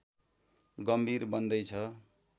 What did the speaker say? गम्भीर बन्दै छ